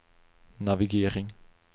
navigering